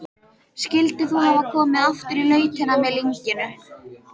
Skyldir þú hafa komið aftur í lautina með lynginu?